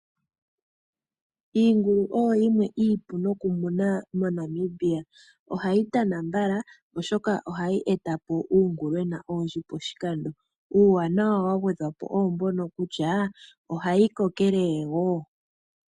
Iingulu oyo yimwe iipu nokumunwa moNamibia . Ohayi tana mbala oshoka ohayi etapo uungulwena owundji pashikando . Uuwanawa wa gwedhwa po owo mbono kutya ohayi kokelele woo.